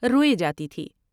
روئے جاتی تھی ۔